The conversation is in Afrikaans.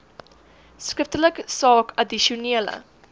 skriftelik saak addisionele